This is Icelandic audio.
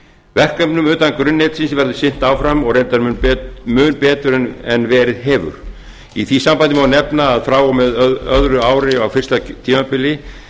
verkefnum utan grunnnetsins verður sinnt áfram og reyndar mun betur en verið hefur í því sambandi má nefna að frá og með öðru ári á fyrsta tímabili